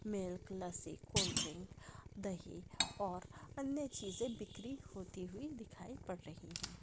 Milk lassi cold drink दही और अन्य चीज़े बिखरी होती हुई दिखाई पड रही हैं।